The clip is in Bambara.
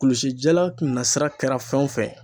Kulusi jala nasira kɛra fɛn o fɛn ye